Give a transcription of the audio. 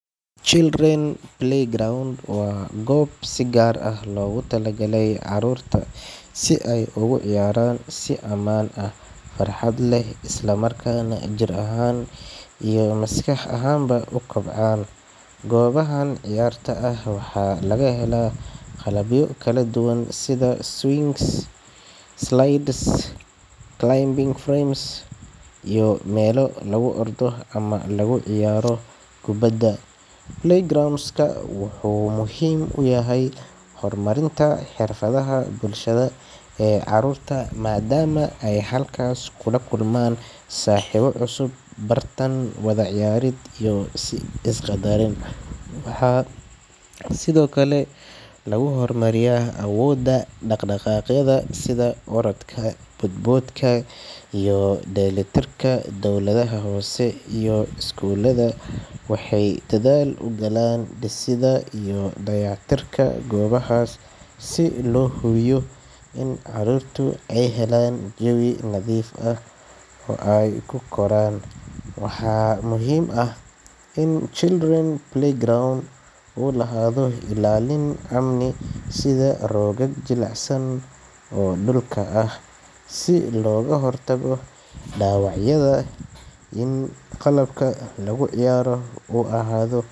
Children’s playground waa goob si gaar ah loogu talagalay carruurta si ay ugu ciyaaraan si aamin ah oo farxad leh, isla markaana si jidheed iyo maskaxeed ah u kobcaan. Goobahan ciyaarta ah waxaa laga helaa qalabyo kala duwan sida swings, slides , climbing frames iyo meelo lagu ordo ama lagu ciyaaro kubbadda. Playground-ku wuxuu muhiim u yahay horumarinta xirfadaha bulshada ee carruurta, maadaama ay halkaas ku kulmaan saaxiibo cusub, is bartaan, wada ciyaaraan, iyo si is-ixtiraam leh isku fahmaan. Waxa sidoo kale lagu horumariyaa awoodda dhaqdhaqaaqyada sida orodka, bood-boodka, iyo dheellitirka. Dowladaha hoose iyo iskuulada waxay dadaal ugu jiraan dhisidda iyo dayactirka goobahan si loo hubiyo in carruurtu ay helaan jawi nadiif ah oo ay ku koraan. Waxaa muhiim ah in children’s playground uu lahaado ilaalin amni sida roogaag jilicsan oo lagu goglo dhulka si looga hortago dhaawacyada, iyo in qalabka lagu ciyaaro uu ahaado mid ammaan ah.